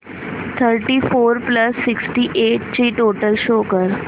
thirty four plus sixty eight ची total show कर